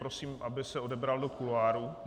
Prosím, aby se odebral do kuloárů.